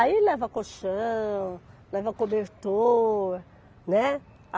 Aí leva colchão, leva cobertor, né?